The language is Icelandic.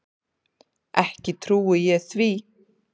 Ekki trúi ég því.